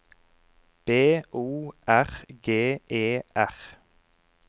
B O R G E R